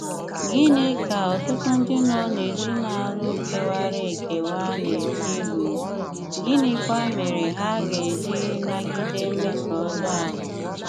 Gìnị ka ọtụtụ ndị nọ n’èzìnàlụ̀ kéwàrà èkéwà na-eche ìhù, gínịkwà mèré hà gà-èjì nàgìdè mmèsò ọ́jọọ àhụ̀?